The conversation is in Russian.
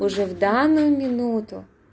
уже в данную минуту